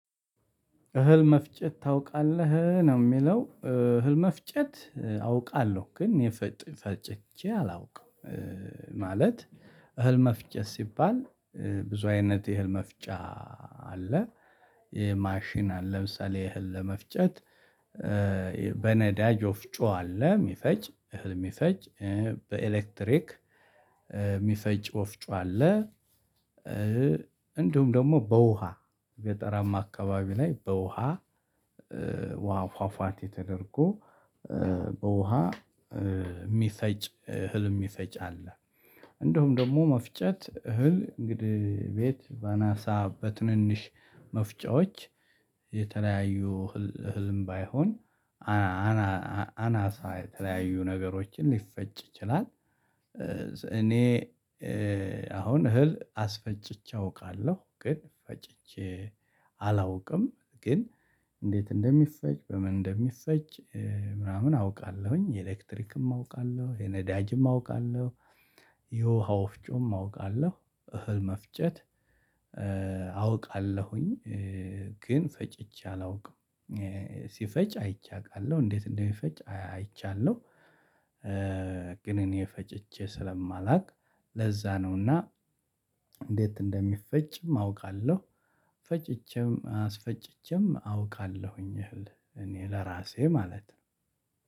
እህል መፍጨት ታውቃለህ ነው የሚለው እህል መፍጨት አውቃለሁ ግን የፈጨኝ ፈጭቸ አላውቅም። ማለት እህል መፍጨት ሲባል ብዙ አይነት የህል መፍጫ አለ። የማሽን አለ ለምሳሌ የህል ለመፍጨት በነዳጅ ወፍጮ አለ የሚፈጭ እህል የሚፈጭ በኤሌክትሪክ የሚፈጭ ወፍጮ አለ። እንዲሁም ደግሞ በውሃ ገጠራማ አካባቢ ላይ በውሃ ውሃ ፏፏቴ ተደረጎ በውሃ የሚፈጭ እህል የሚፈጭ አለ። እንደውም ደግሞ መፍጨት እህል እንግዲህ ቤት በናሳ በትንንሽ መፍጫዎች የተለያዩ ህልም ባይሆን አናሳ የተለያዩ ነገሮችን ሊፈጭ ይችላል። እኔ አሁን እህል አስፈጭቼ አውቃለሁ ግን ፈጭቼ አላውቅም። ግን እንዴት እንደሚፈጭ በምን እንደሚፈጅዠጭ ምናምን አውቃለሁኝ የኤሌክትሪክም አውቃለሁ የነዳጅም አውቃለሁ። የውሃ ወፍጮም አውቃለሁ እህል መፍጨት አውቃለሁኝ ግን ፈጭቼ አላውቅም። ሲፈጭ አይቼ አቃለሁ እንዴት እንደሚፈጭ አይቻለሁ። ግን እኔ ፈጭቼ ስለማላውቅ ለዛ ነውና። እንዴት እንደሚፈጭም አውቃለሁ ፈጭቼም አስፈጭቼም አውቃለሁኝ እህል እኔ ለራሴ ማለት ነው።